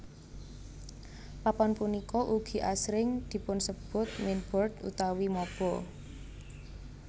Papan punika ugi asring dipunsebut mainboard utawi mobo